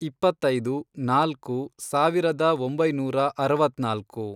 ಇಪ್ಪತ್ತೈದು, ನಾಲ್ಕು, ಸಾವಿರದ ಒಂಬೈನೂರ ಅರವತ್ನಾಲ್ಕು